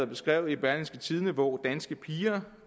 beskrevet i berlingske tidende på danske piger